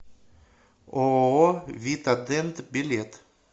ооо вита дент билет